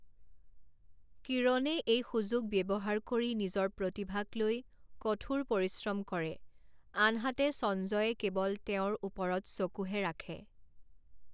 কিৰণে এই সুযোগ ব্যৱহাৰ কৰি নিজৰ প্ৰতিভাক লৈ কঠোৰ পৰিশ্ৰম কৰে, আনহাতে সঞ্জয়ে কেৱল তেওঁৰ ওপৰত চকুহে ৰাখে।